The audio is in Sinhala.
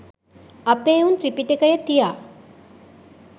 අපේ උන් ත්‍රිපිටකය තියා